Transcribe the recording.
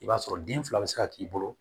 I b'a sɔrɔ den fila bɛ se ka k'i bolo